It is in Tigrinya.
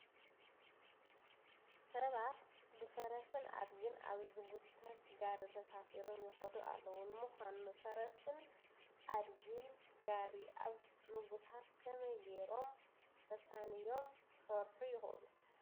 ስባት ብፈረስን ኣድግን ኣብ ዝጉተት ጋሪ ተሳፊሮም ይኸዱ ኣለዉ፡፡ ንምዃኑ ፈረስን ዓድግን ጋሪ ኣብ ምጉታት ከመይ ገይሮም ተሳንዮም ክሰርሑ ይኽእሉ?